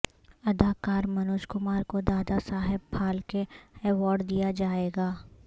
اداکار منوج کمار کو دادا صاحب پھالکے ایوارڈ دیا جائے گا